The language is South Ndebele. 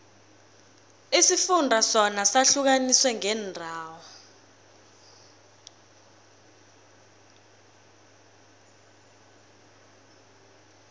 isifunda sona sihlukaniswe ngeendawo